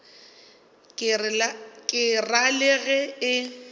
ke ra le ge e